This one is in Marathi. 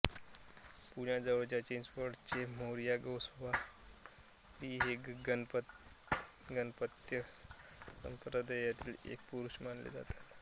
पुण्याजवळच्या चिंचवडचे मोरया गोसावी हे गाणपत्य संप्रदायातील एक पुरूष मानले जातात